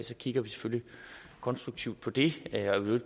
så kigger vi selvfølgelig konstruktivt på det jeg vil